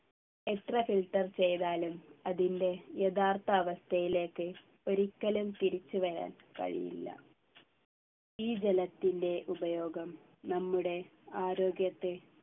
എത്ര filter ചെയ്താലും അതിൻ്റെ യഥാർത്ഥ അവസ്ഥയിലേക്ക് ഒരിക്കലും തിരിച്ചു വരാൻ കഴിയില്ല ഈ ജലത്തിൻ്റെ ഉപയോഗം നമ്മുടെ ആരോഗ്യത്തെ